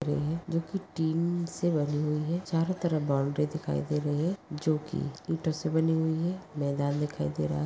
जो की टीन से बनी हुई है। चारों तरफ बाउन्ड्री दिखाई दे रही है। जो की ईंटोसे बनी हुई है। मैदान दिखाई दे रहा --